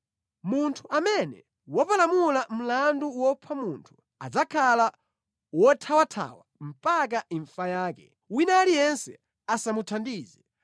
Munthu amene wapalamula mlandu wopha munthu adzakhala wothawathawa mpaka imfa yake; wina aliyense asamuthandize.